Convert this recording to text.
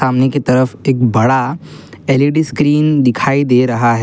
उन्हीं की तरफ एक बड़ा एल_ई_डी स्क्रीन दिखाई दे रहा है।